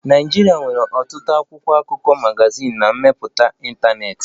Nigeria nwere ọtụtụ akwụkwọ akụkọ, magazin na mbipụta ntanetị